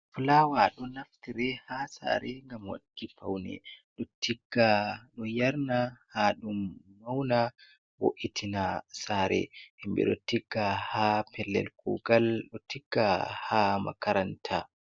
Flawa ɗo naftire ha sare ngam waɗuki faune, tigga ɗo yarna ha ɗum mauna voiitina sare, himɓe ɗo tigga ha pellel kugal, do tigga ha makaranta.